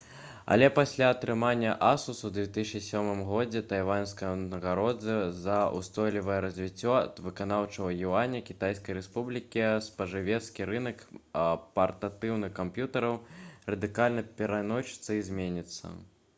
але пасля атрымання асус у 2007 годзе тайваньскай узнагароды за ўстойлівае развіццё ад выканаўчага юаня кітайскай рэспублікі спажывецкі рынак партатыўных камп'ютэраў радыкальна перайначыцца і зменіцца